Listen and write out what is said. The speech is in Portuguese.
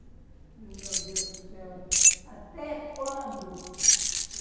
meu Deus do céu, até quando?